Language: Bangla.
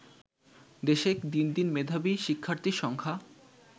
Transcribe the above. দেশে দিনদিন মেধাবী শিক্ষার্থীর সংখ্যা